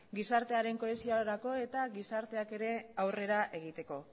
gizartearen kohesiorako eta gizarteak ere aurrera egiteko